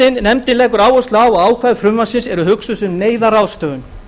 nefndin leggur áherslu á að ákvæði frumvarpsins eru hugsuð sem neyðarráðstöfun